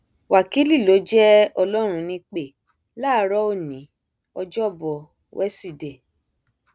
wákìlì ló jẹ ọlọrun nípẹ láàárọ òní ọjọbọ wẹsídẹẹ